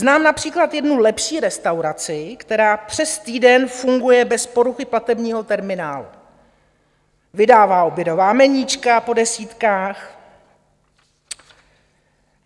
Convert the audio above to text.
Znám například jednu lepší restauraci, která přes týden funguje bez poruchy platebního terminálu, vydává obědová meníčka po desítkách.